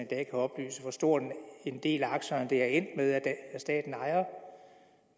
kan oplyse hvor stor en del af aktierne det er endt med at staten ejer